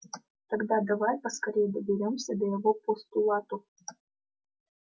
тогда давай поскорее доберёмся до его постулатов